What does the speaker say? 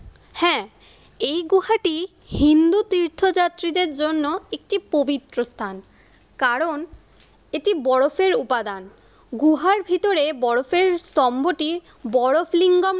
হ্যা এই গুহাটি হিন্দু তীর্থ যাত্রীদের জন্য একটি পবিত্র স্থান। কারণ এটি বরফের উপাদান গুহার ভিতরে বরফের স্তম্ভটি বরফ লিঙ্গাম